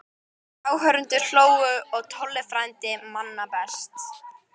Áhorfendur hlógu og Tolli frændi manna mest.